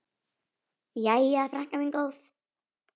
Jæja, frænka mín góð.